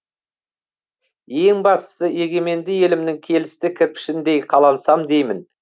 ең бастысы егеменді елімнің келісті кірпішіндей қалансам деймін